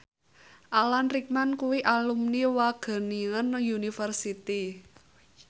Alan Rickman kuwi alumni Wageningen University